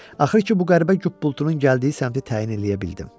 Axır ki, bu qəribə qup-qultunun gəldiyi səmtə təyin eləyə bildim.